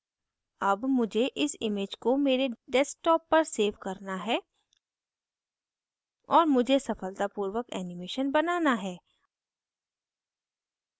अब मुझे इस image को मेरे desktop पर सेव करना है और मुझे सफलतापूर्वक animation बनाना है